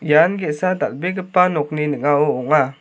ian ge·sa dal·begipa nokni ning·ao ong·a.